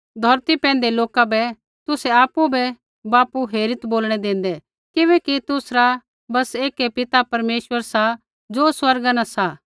धौरती पैंधै लोका बै तुसै आपु बै बापू हेरित् बोलणै देंदै किबैकि तुसरा बस एकै पिता परमेश्वर सा ज़ो स्वर्गा न सा